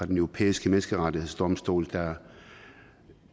den europæiske menneskerettighedsdomstol der